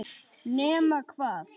Nema hvað.